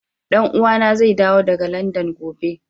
Dan uwa na zai dawo daga Landan gobe.